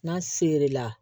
N'a sere la